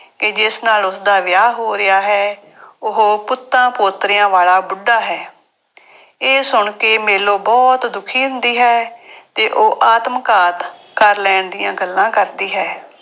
ਕਿ ਜਿਸ ਨਾਲ ਉਸਦਾ ਵਿਆਹ ਹੋ ਰਿਹਾ ਹੈ, ਉਹ ਪੁੱਤਾਂ ਪੋਤਰਿਆਂ ਵਾਲਾ ਬੁੱਢਾ ਹੈ ਇਹ ਸੁਣ ਕੇ ਮੇਲੋ ਬਹੁਤ ਦੁਖੀ ਹੁੰਦੀ ਹੈ ਤੇ ਉਹ ਆਤਮਘਾਤ ਕਰ ਲੈਣ ਦੀਆਂ ਗੱਲਾਂ ਕਰਦੀ ਹੈ।